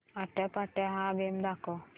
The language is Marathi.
आट्यापाट्या हा गेम दाखव